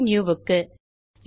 பைல்னியூ க்கு